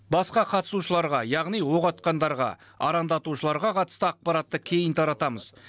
басқа қатысушыларға яғни оқ атқандарға арандатушыларға қатысты ақпаратты кейін таратамыз